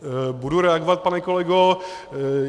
Budu reagovat, pane kolego.